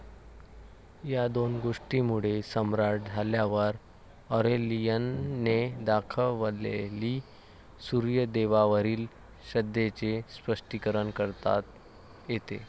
या दोन गोष्टींमुळे सम्राट झाल्यावर ऑरेलियनने दाखवलेली सूर्यदेवावरील श्रद्धेचे स्पष्टीकरण करता येते.